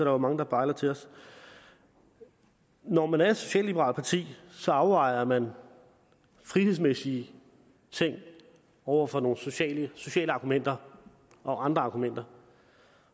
jo mange der bejler til os når man er et socialliberalt parti afvejer man frihedsmæssige ting over for nogle sociale sociale argumenter og andre argumenter